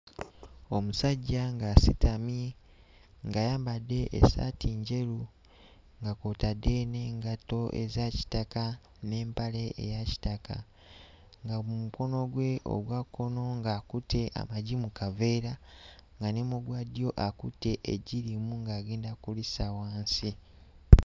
Omusajja ng'asitamye ng'ayambadde essaati njeru nga kw'otadde n'engatto eza kitaka n'empale eya kitaka nga mu mukono gwe ogwa kkono ng'akutte amagi mu kaveera nga ne mu gwa ddyo akutte eggi limu ng'agenda kulissa wansi.